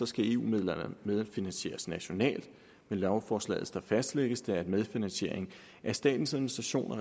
skal eu midlerne medfinansieres nationalt med lovforslaget fastlægges det at medfinansiering af statens administration og